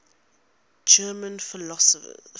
german philosophers